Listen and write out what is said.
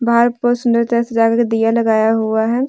बाहर बहुत सुंदरता से सजा के दिया लगाया हुआ है।